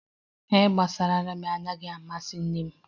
ihe gbasara ramin adighi amasi nne m